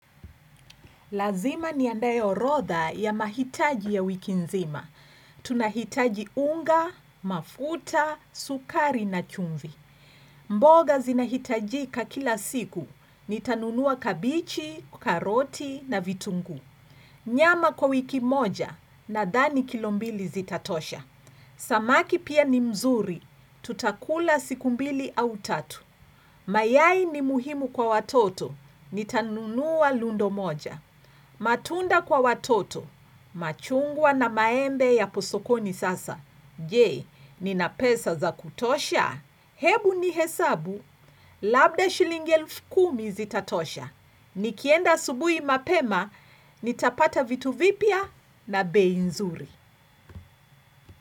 Lazima niandae orodha ya mahitaji ya wiki nzima. Tunahitaji unga, mafuta, sukari na chumvi. Mboga zinahitajika kila siku. Nitanunua kabichi, karoti na vitunguu. Nyama kwa wiki moja, nadhani kilo mbili zitatosha. Samaki pia ni mzuri, tutakula siku mbili au tatu. Mayai ni muhimu kwa watoto, nitanunua lundo moja. Matunda kwa watoto, machungwa na maembe yapo sokoni sasa. Je, nina pesa za kutosha? Hebu nihesabu, labda shilingi elfu kumi zitatosha. Nikienda asubuhi mapema, nitapata vitu vipya na bei nzuri.